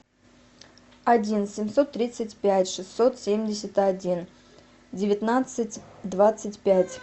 один семьсот тридцать пять шестьсот семьдесят один девятнадцать двадцать пять